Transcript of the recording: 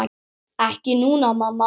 Ekki núna, mamma.